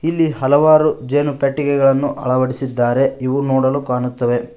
ಹಲವಾರು ಜೇನು ಪೆಟ್ಟಿಗೆಗಳನ್ನು ಅಳವಡಿಸಿದ್ದಾರೆ ಇವು ನೋಡಲು ಕಾಣುತ್ತವೆ.